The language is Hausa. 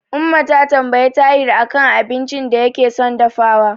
Umma ta tambayi Tahir a kan abincin da yake son dafawa.